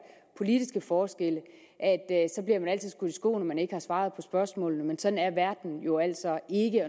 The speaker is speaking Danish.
politiske forskelle i skoene at man ikke har svaret på spørgsmålene men sådan er verden jo altså ikke